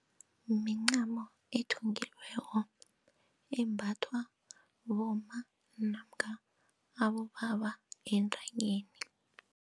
Mincamo elithungiweko embathwa bomma namkha abobaba entanyeni.